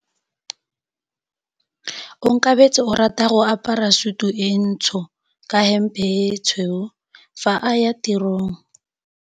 Onkabetse o rata go apara sutu e ntsho ka hempe e tshweu fa a ya tirong.